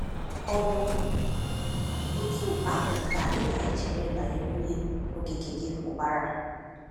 Ọ bụ otú ahụ ka ị na-eche banyere Onye Okike gị Ukpara?